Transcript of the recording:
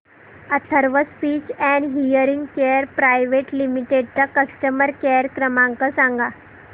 Atharva speech and hearing care private limited चा customer care क्रमांक सांगा